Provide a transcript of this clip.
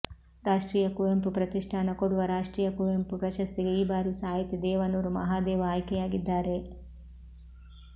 ರಾಷ್ಟ್ರೀಯ ಕುವೆಂಪು ಪ್ರತಿಷ್ಠಾನ ಕೊಡುವ ರಾಷ್ಟ್ರೀಯ ಕುವೆಂಪು ಪ್ರಶಸ್ತಿಗೆ ಈ ಬಾರಿ ಸಾಹಿತಿ ದೇವನೂರು ಮಹಾದೇವ ಆಯ್ಕೆಯಾಗಿದ್ದಾರೆ